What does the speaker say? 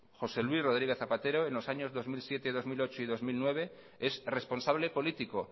josé luis rodríguez zapatero en los años dos mil siete dos mil ocho y dos mil nueve es responsable político